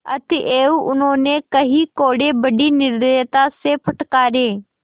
अतएव उन्होंने कई कोडे़ बड़ी निर्दयता से फटकारे